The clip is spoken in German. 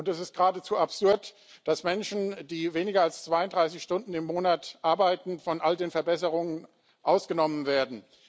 Und es ist geradezu absurd, dass Menschen, die weniger als 32 Stunden im Monat arbeiten, von all den Verbesserungen ausgenommen werden.